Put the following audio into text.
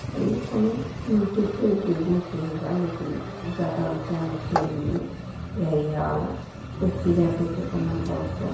इहो कोनों multi storey building के बा लेकिन जादा ऊंचा नइखे इ बिल्डिंग एरिया वाला कुल पिलर देके बनल बा ऊपर।